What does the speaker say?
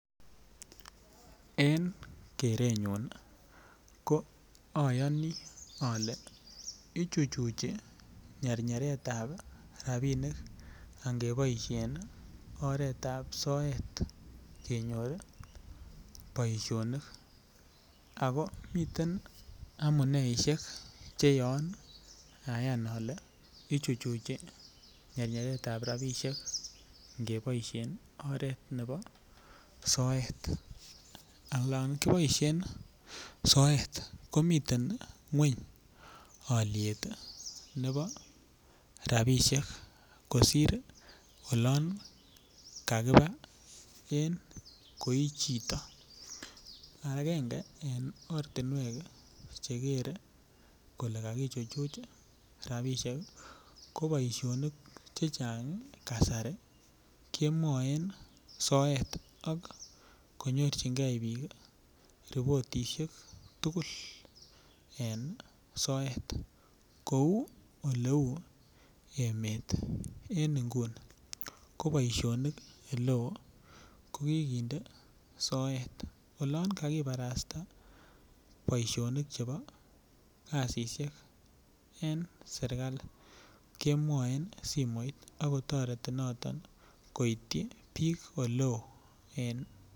En kerenyun ayani ale ichuchuchi nyernyeretab rabisiek angeboisien oret ab soet kenyor boisinik ako miten amuneisiek Che Yoon Ayan ale ichuchuchi nyernyeretab rabisiek ange boisien oret nebo soet olon kiboisien soet komiten ngwony alyet nebo rabisiek kot mising kosir olon kakiba en koi chito agenge en ortinwek Che kere kole kaichuchuch ii rabisiek ko boisionik Che Chang kasari kemwoen soet ak konyorchigei bik ii ripotisiek tugul en soet kou oleu emet en nguni ko boisinik oleo ko kinde soet oloon kakibarasta boisionik Chebo kasisyek en serkali kemwoen simoit ako toreti noton koityi bik oleo en kenya